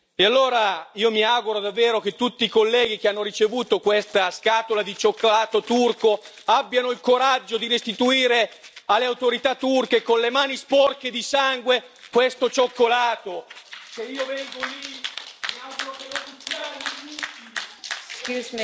E allora io mi auguro davvero che tutti i colleghi che hanno ricevuto questa scatola di cioccolato turco abbiano il coraggio di restituire alle autorità turche con le mani sporche di sangue questo cioccolato, che io vengo lì.